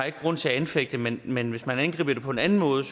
ikke grund til at anfægte men men hvis man angriber det på en anden måde